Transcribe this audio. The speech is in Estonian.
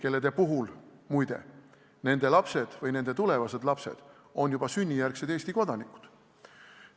Kelle puhul, muide, nende lapsed või tulevased lapsed on juba sünnijärgsed Eesti kodanikud.